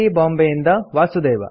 ಬಾಂಬೆಯಿಂದ ವಾಸುದೇವ